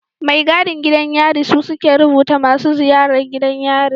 Mai gadin gidan yari su suke rubuta masu ziyaran gidan yari